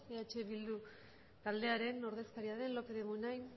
eh bildu taldearen ordezkaria den lópez de munain